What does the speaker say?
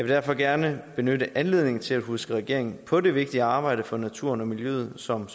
derfor gerne benytte anledningen til at huske regeringen på det vigtige arbejde for naturen og miljøet som